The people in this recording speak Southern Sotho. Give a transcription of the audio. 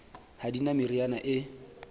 ha di na meriana e